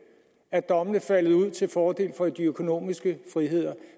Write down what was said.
er dommene faldet ud til fordel for de økonomiske friheder